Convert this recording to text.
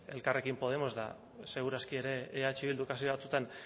elkarrekin podemos eta seguru aski ere eh bilduk batzuetan